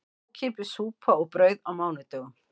Ókeypis súpa og brauð á mánudögum